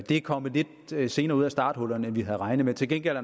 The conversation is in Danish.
er kommet lidt senere ud af starthullerne end vi havde regnet med til gengæld